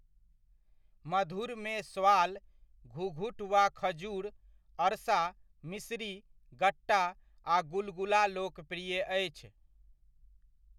मधुरमे स्वाल, घुघुट वा खजूर, अरसा, मिश्री, गट्टा आ गुलगुला लोकप्रिय अछि।